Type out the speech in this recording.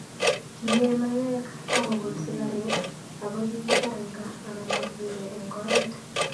Kiee maiywek ak kogul sigareg, ako kikipar eng gaa anan kokimee eng oret